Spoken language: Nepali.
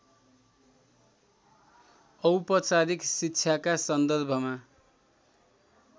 औपचारिक शिक्षाका सन्दर्भमा